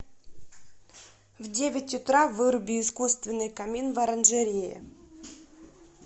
в девять утра выруби искусственный камин в оранжерее